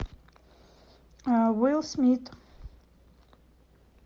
уилл смит